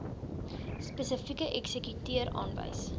spesifieke eksekuteur aanwys